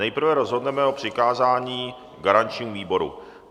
Nejprve rozhodneme o přikázání garančnímu výboru.